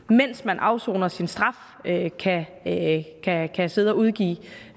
mens man afsoner sin straf kan kan sidde og udgive